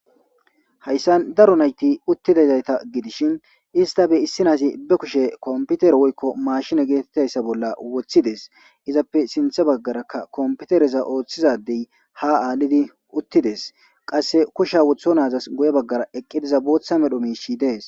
hayssan daro nayti uttidazayta gidishin ista be issinaasi be kushe kompiter woykko maashina geetettayssa bolla woththides izappe sinthe baggarakka kompitereza ooththizadey ha aalidi uttides qasse kusha wotho naazas goye baggara eqqidiza booththa medho miishi dees